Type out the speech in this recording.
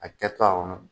A kɛtɔ a kɔnɔ